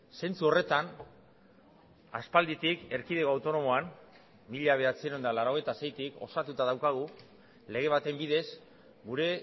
zentzu horretan aspalditik erkidego autonomoan mila bederatziehun eta laurogeita seitik osatuta daukagu lege baten bidez gure